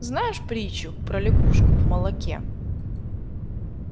знаешь притчу про лягушку в молоке